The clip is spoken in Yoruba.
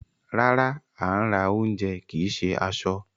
Rárá, à ń ra ounjẹ kìí ṣe aṣọ.